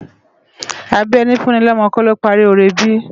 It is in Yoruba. Àbi èni fú ni lòmò kò ló pári óré bi?